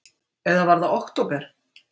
Eða var það október?